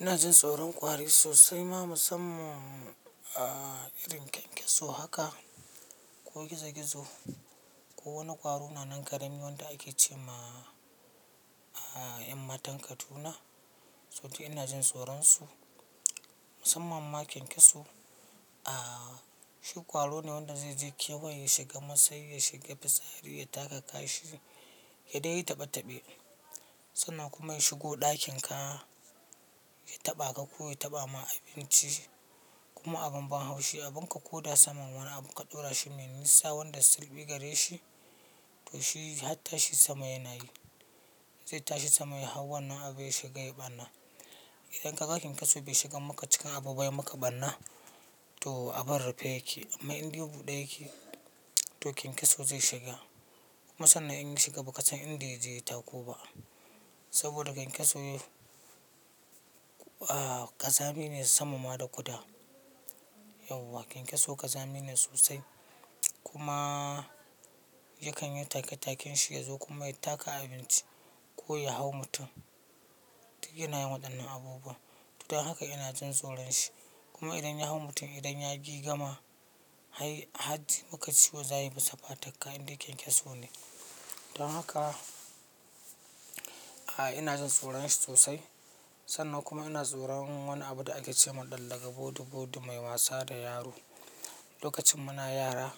Ina jin tsoron kwari sosai ma musamman a irin kyankyaso haka ko gizo-gizo ko wani kwari na nan ƙarami wanda ake ce ma, a, ƴan matan Kaduna. Sotun ina jin tsoron su, musamman ma kyankyaso. A, shi kwaro ne wanda zai je kewa ya shiga masai, ya shiga fitsari, ya taka kashi, ya dai yi taɓe-taɓe. Sannan kuma in shigo ɗakin ka ya taɓa ka ko ya taɓa ma abinci kuma abun ban haushi, abun ka koda saman, wani abu ka ɗora shi mai nisa wanda silbi gare shi to shi har tashi sama yana yi. Zai tashi sama ya hau wannan abin ya shiga yai ɓanna. Idan ka ka kyankyaso bai shiga maka cika abu ba ya maka ɓanna to abun rufe yake. Amma in ɗebu ɗe ya yake to kyankyaso zai shiga. Kuma sannan in shiga ba ka san inda yake tako ba. Saboda kyankyaso, a, ƙazami ne sama ma da kuda. Yauwa, kyankyaso ƙazami ne sosai. Kuma yakan yi take-taken shi ya zo kuma ya taka abinci ko ya hau mutum. Duk yana yin waɗannan abubuwa. Don haka ina jin tsoron shi. Kuma idan ya hau mutum, idan ya gigama, hai, hatsi muka ci wanzai masa fatakka in dai kyankyaso ne. Don haka, a, ina jin tsoron shi sosai. Sannan kuma ina tsoron wani abu da ake ce ma ɗan Laga, bodu-bodu mai wasa da yaro. Lokacin muna yara,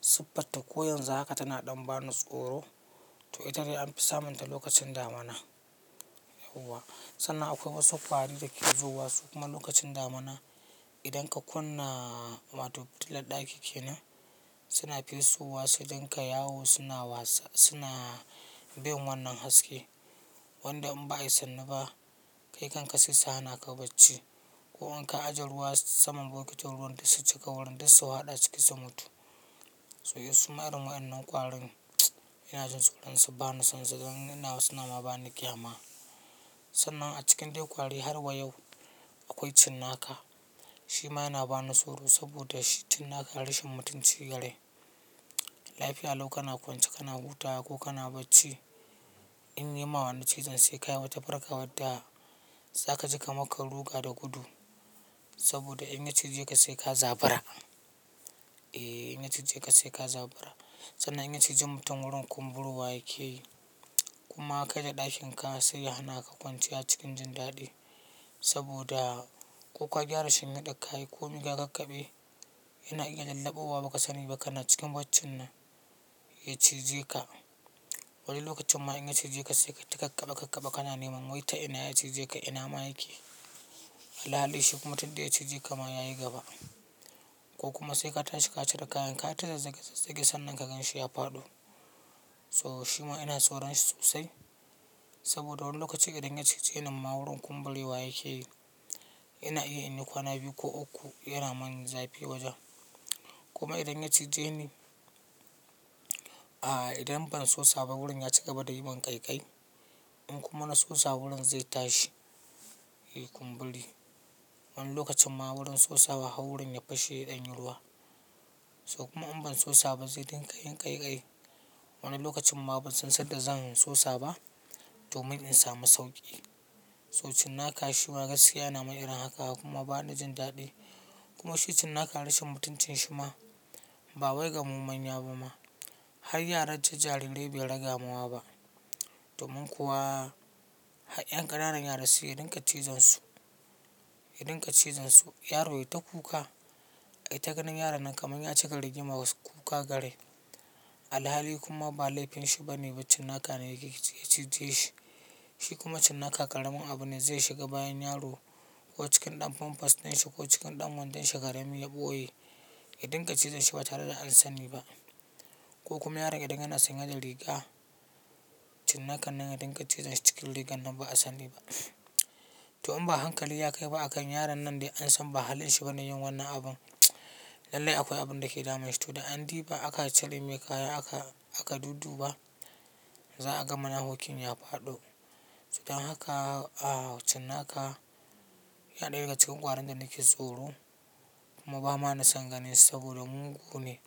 siffarta ko yanzu haka tana ɗan ba ni tsoro. To ita dai an fi samunta lokacin damana. Yauwa. Sannan akwai wasu kwari da ke zuwa su kuma lokacin damana. Idan ka kunna ma to fitilar ɗaki ke nan, suna fesowa su dinga yawo suna wasa, suna bin wannan haske. Wanda in ba a yi sanni ba kai kanka sai ta hana ka bacci. Ko in ka ajiye ruwa saman bokitin ruwan dai su cika, wurin dai su haɗa ciki su mutu. So yes, su marun waɗannan kwarin ina jin tsoron su, ba na son su. Don in na wasu nama ba ni kyama. Sannan a cikin dai kwari har wa yau akwai cinnaka. Shi ma yana ba ni tsoro saboda cinnaka rashin mutunci garai. Laifi allo kana kwance kana wuta ko kana bacci. In yi ma wani cizon sai ka yama ta farka wadda, za ka ji ka makka ruga da gudu. Saboda in ya cije ka sai ka zabura. Eh, in ya cije ka sai ka zabura. Sannan in ya cije mutum wurin kumburowa yake yi kuma kai da ɗakin ka sai ya hana ka kwanciya cikin jindaɗi. Saboda ko ka gyara shin hidar ka yi komi ka kakkaɓe, yana iya jallabo wa ba ka sani ba kana cikin baccin nan ya cije ka. Wani lokacin ma in ya cije ka sai ka yi takakabe-kakabe kana neman wai ta ina ya cije ka, ina ma yake. Alhali shi kuma tun dai ya cije ka ma ya yi gaba. Ko kuma sai ka tashi ka cire kayan ka, ya ta da zage-zage sannan kakanshi ya faɗo. So shi ma ina tsoron shi sosai. Saboda wani lokaci idan ya cije ni mma wurin kumbure wa yake yi. Ina iya in yi kwana biyu ko uku yana min zafi wajen. Kuma idan ya cije ni, a, idan ban sosa ba wurin ya ci gaba da yin ƙaiƙai. In kuma na sosa wurin zai tashi, yi kumburi. Wani lokacin ma wurin sosa ba hau wurin ya fashe ɗanyi ruwa. To kuma in ban sosa ba zai dinga yin ƙaiƙai. Wani lokacin ma ban san sanda zan sosa ba domin in samu sauƙi. So cinnaka shi ma gaskiya yana min irin haka kuma ba ni jindaɗi. Kuma shi cinnaka rashin mutuncin shi ma ba wai ga mu manya ba ma. Har yaran tijjarirai bai raga mawa ba. Domin kuwa, ha, ƴan ƙananan yara su yi ɗinka tizansu, ya ɗinka cizansu. Yaro ya yi ta kuka. Kai ta ganin yaron nan kamar ya cika rigima wasu kuka gare. Alhali kuma ba laifin shi ba ne, bac cinnaka ne yake cije shi. Shi kuma cinnaka ƙaramin abu ne zai shiga bayan yaro ko cikin ɗan famfas ɗin shi ko cikin ɗan wandan shi karami ya boye, yi ɗinka cizanshi ba tare da an sani ba. Ko kuma yaron idan yana san ya yi riga, cinnakan nan ya ɗinka tizanshi cikin rigan nan ba a sani ba. To in ba hankali ya kai ba akan yaron nan dai an san ba hali shi ba ne yin wannan abun lallai akwai abin da ke dama shi. To dai an yi duba aka cire miya kaya aka, aka dudduba za a ga mana hukkin ya faɗo. Don haka, a, cinnaka ya ɗaya daga cikin kwarin da nake tsoro kuma ba ma na sanganin saboda mugu ne.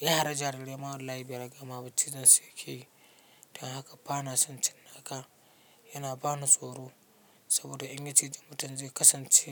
Ya hari jarirai ma wallahi bairagama ba cizansu yake yi. Don haka ba na son cinnaka, yana ba ni tsoro saboda in ya cije mutum zai kasance.